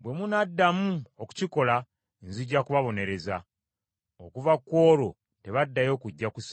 Bwe munaddamu okukikola nzija kubabonereza.” Okuva ku olwo tebaddayo kujja ku Ssabbiiti.